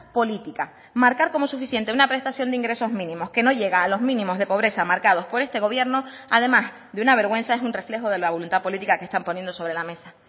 política marcar como suficiente una prestación de ingresos mínimos que no llega a los mínimos de pobreza marcados por este gobierno además de una vergüenza es un reflejo de la voluntad política que están poniendo sobre la mesa